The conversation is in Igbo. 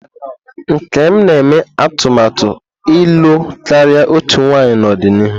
Nkem na-eme atụmatụ ịlụ karịa otu nwanyị n'ọdịnihu.